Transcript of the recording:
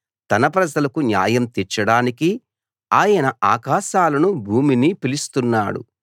తన ప్రజలకు న్యాయం తీర్చడానికి ఆయన ఆకాశాలనూ భూమినీ పిలుస్తున్నాడు